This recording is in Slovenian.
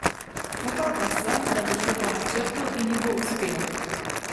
Upal pa sem, da bo šlo po načrtu in ji bo uspelo.